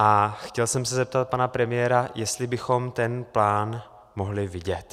A chtěl jsem se zeptat pana premiéra, jestli bychom ten plán mohli vidět.